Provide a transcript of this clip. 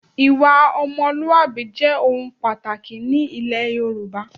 Ìwà ọmọlúwàbí jẹ́ ohun pàtàkì ni ilẹ̀ Yorùbá